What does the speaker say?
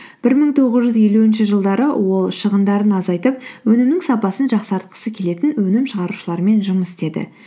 бір мың тоғыз жүз елуінші жылдары ол шығындарын азайтып өнімнің сапасын жақсартқысы келетін өнім шығарушылармен жұмыс істеді